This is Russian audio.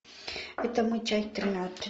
это мы часть тринадцать